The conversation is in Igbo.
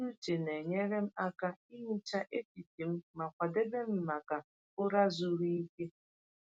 Ntụgharị uche na-enyere m aka ihicha echiche m ma kwadebe m maka ụra zuru ike.